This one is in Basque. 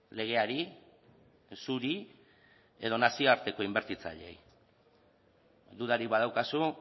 legeari zuri edo nazioarteko inbertitzaileei dudarik badaukazu